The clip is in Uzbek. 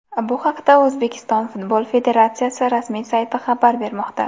Bu haqda O‘zbekiston futbol federatsiyasi rasmiy sayti xabar bermoqda.